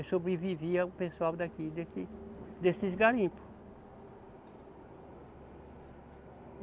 E sobrevivia o pessoal daqui, desses, desses garimpos.